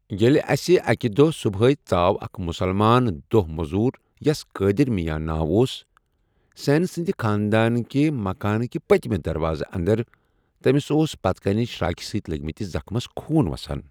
ییٚلہِ اسہِ اكہِ دوہ صُبحیہ ،ژاو اكھ مُسلمان دوہ مو٘ذُر یس قٲدِر مِیاں ناو اوس، سین سندِ خاندٲنکہِ مكانہِ كہِ پتِمہِ دروازٕ اندر ، تمِس اوس پتِہ كِنہِ شراكہِ سۭتۍ لگِمتِس زخمس خوٗن وسان ۔